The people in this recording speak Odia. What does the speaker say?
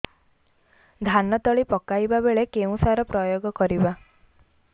ଧାନ ତଳି ପକାଇବା ବେଳେ କେଉଁ ସାର ପ୍ରୟୋଗ କରିବା